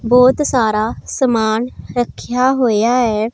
बहोत सारा सामान रक्ख्या होया है।